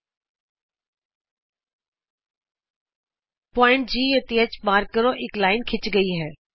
ਬਿੰਦੂ G ਅਤੇ H ਨੂੰ ਚਿੰਨ੍ਹਿਤ ਕਰੋ ਇਕ ਰੇਖਾ ਖਿੱਚੀ ਗਈ ਹੈ